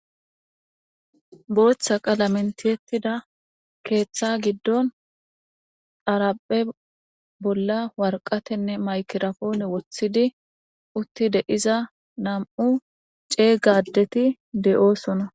booththa qala mentiyettida keeththa giddon araphe bolla warqatenne maykirafoone wothidi uttide iza nam7u ceeygadeti de7oosona